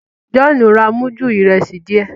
John ń rà mudu Ìrẹsí díẹ